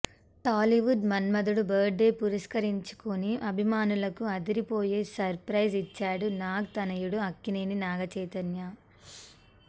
టాలీవుడ్ మన్మథుడు birth day పురస్కరించుకుని అభిమానులకు అదిరిపోయే సర్ ప్రైజ్ ఇచ్చాడు నాగ్ తనయుడు అక్కినేని నాగచైతన్య